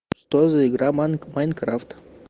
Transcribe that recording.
что за игра майнкрафт